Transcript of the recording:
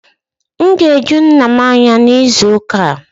M ga-eju nna m anya n'izu ụka a